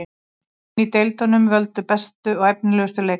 Leikmenn í deildunum völdu bestu og efnilegustu leikmenn.